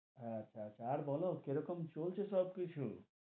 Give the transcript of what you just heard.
হেঁ, আচ্ছা আচ্ছা, আর বোলো কি রকম চলছে সব কিছু?